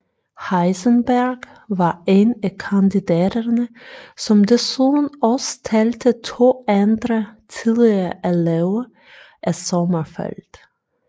Heisenberg var en af kandidaterne som desuden også talte to andre tidligere elever af Sommerfeld